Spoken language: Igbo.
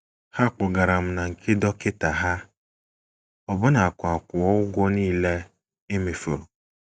Ha kpọgara m na nke dọkịta ha, ọbụnakwa kwụọ ụgwọ nile e mefuru.